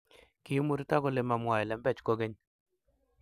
kimurto kole mamwaee lembech kogeny